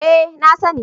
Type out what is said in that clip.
Eh na sani